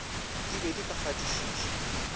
di be di ka fatišiša